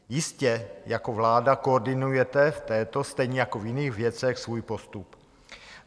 Jistě jako vláda koordinujete v této - stejně jako v jiných věcech - svůj postup.